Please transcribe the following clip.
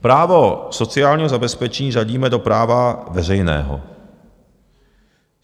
Právo sociálního zabezpečení řadíme do práva veřejného.